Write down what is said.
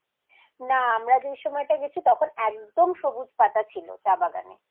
না আমরা যে সময়টাতে গেছি তখন একদম সবুজ পাতা ছিল চা বাগানে